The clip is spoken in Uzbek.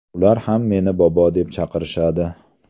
Ular ham meni bobo deb chaqirishadi.